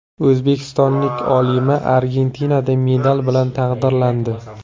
O‘zbekistonlik olima Argentinada medal bilan taqdirlandi.